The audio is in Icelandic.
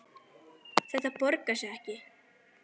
Þetta borgar sig ekki.